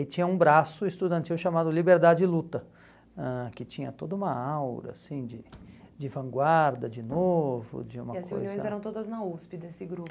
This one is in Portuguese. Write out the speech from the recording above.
E tinha um braço estudantil chamado Liberdade e Luta, ãh que tinha toda uma aura de de vanguarda, de novo, de uma coisa... E as reuniões eram todas na USP desse grupo?